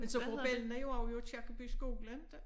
Men så går bellana jo også i Aakirkeby skole ikke?